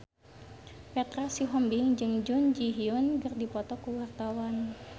Petra Sihombing jeung Jun Ji Hyun keur dipoto ku wartawan